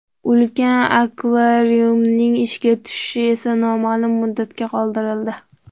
Ulkan akvariumning ishga tushishi esa noma’lum muddatga qoldirildi.